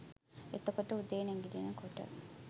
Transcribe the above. එතකොට උදේ නැගිටිනකොට